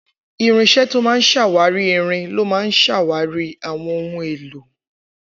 Irinṣẹ́ tó ń ṣàkíyèsí irin ló máa ń ṣàwárí àwọn ohun èlò